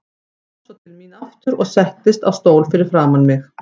Kom svo til mín aftur og settist á stól fyrir framan mig.